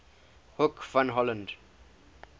hoek van holland